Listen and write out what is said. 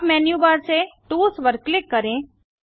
अब menu bar से tools पर क्लिक करें